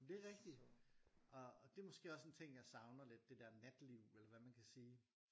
Det rigtigt og og det måske en ting jeg savner lidt det der natteliv eller hvad man kan sige